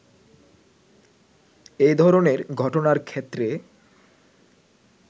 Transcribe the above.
এ ধরনের ঘটনার ক্ষেত্রে